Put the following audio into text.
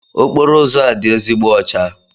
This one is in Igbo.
Okporo ụzọ a dị ezigbo ọcha.